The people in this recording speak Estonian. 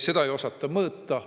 seda ei osata mõõta.